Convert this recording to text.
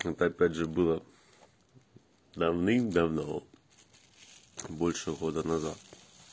опять же было давным-давно больше года назад